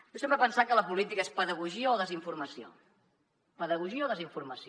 jo sempre he pensat que la política és pedagogia o desinformació pedagogia o desinformació